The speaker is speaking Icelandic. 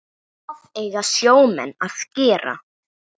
Hvað eiga sjómenn að gera?